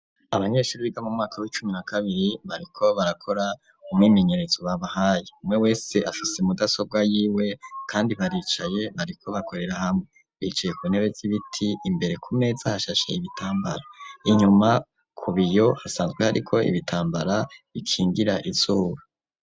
Abanyeshure biga mu mwaka wicumi na kabiri bariko barakora umwimenyerezo babahaye umwe wese afise mudasobwa yiwe kandi baricaye ariko bakorera hamwe bicaye ku ntebe z'ibiti imbere ku meza hashashe ibitambara inyuma ku biyo hasanzwe hariko ibitambara bikingira izuba.